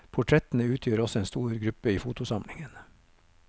Portrettene utgjør også en stor gruppe i fotosamlingen.